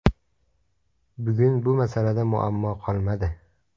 Bugun bu masalada muammo qolmadi.